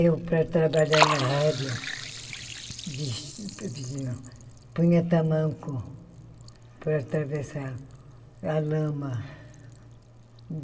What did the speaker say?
Eu, para trabalhar na rádio, ves ves não... punha tamanco para atravessar a lama.